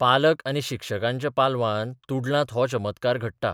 पालक आनी शिक्षकांच्या पालबान तुडलांत हो चमत्कार घडटा.